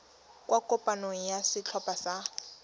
kwa kopanong ya setlhopha sa